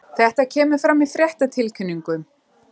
Þetta kemur fram í fréttatilkynningu